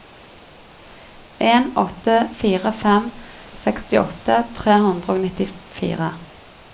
en åtte fire fem sekstiåtte tre hundre og nittifire